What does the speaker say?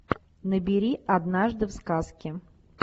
набери однажды в сказке